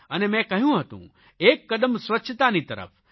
અને મેં કહ્યું હતું એક કદમ સ્વચ્છતાની તરફ